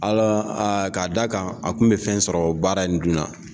Ala a k'a da' a kan a kun bɛ fɛn sɔrɔ o baara in dunna.